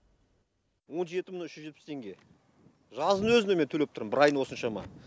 он жеті мың үш жүз жетпіс сегіз теңге жаздың өзінде мен төлеп тұрмын бір айын осыншама